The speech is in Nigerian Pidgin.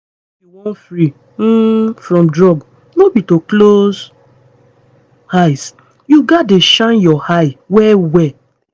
if you wan free um from drugs no be to close eye. you gats dey shine your eye well well